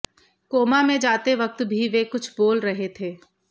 coma में जाते वक्त भी वे कुछ बोल रहे थे